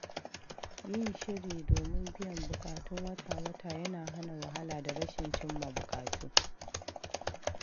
Yin shiri domin biyan buƙatun wata-wata yana hana wahala da rashin cimma buƙatu.